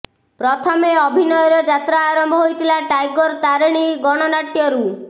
ପ୍ରଥମେ ଅଭିନୟର ଯାତ୍ରା ଆରମ୍ଭ ହୋଇଥିଲା ଟାଇଗର ତାରେଣୀ ଗଣନାଟ୍ୟରୁ